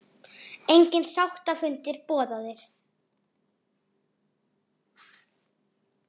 Engir sáttafundir boðaðir